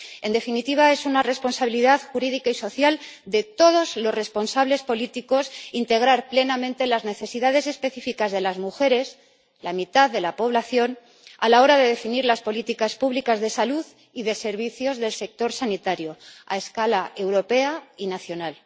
En definitiva es una responsabilidad jurídica y social de todos los responsables políticos integrar plenamente las necesidades específicas de las mujeres, la mitad de la población, a la hora de definir las políticas públicas de salud y de servicios del sector sanitario a escala europea y nacional.